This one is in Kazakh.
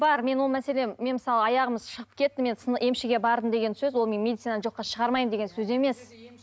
бар мен оны мәселен мен мысалы аяғым шығып кетті мен емшіге мен бардым деген сөз ол мен медицинаны жоққа шығармаймын деген сөз емес